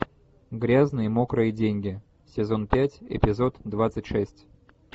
грязные мокрые деньги сезон пять эпизод двадцать шесть